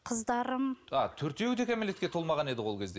қыздарым а төртеуі де кәмелетке толмаған еді ғой ол кезде